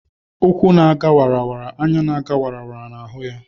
Ụkwụ na-aga wara wara, anya na-aga wara wara na-ahụ ya